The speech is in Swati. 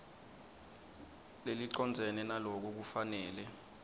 lelicondzene naloko kufanele